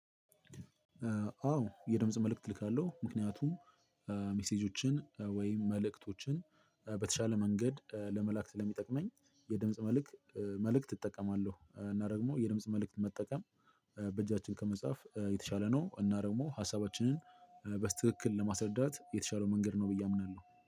አዎ የድምጽ መልእክት እልካለሁ ምክንያቱም እ ሚሴጆችን ወይም መልእክቶችን በተሻለ መንገድ ለመላእክ ስለሚጠቅመኝ የድምጽ መልእክት መልእክት እጠቀማለሁ። እና ደግሞ የድምጽ መልእክት መጠቀም እ በእጃችን ከመጻፍ እ የተሻለ ነው። እና ደግሞ ሀሳባችንን እ በትክክል ለማስረዳት የተሻለው መንገድ ነው ብዬ አምናለሁ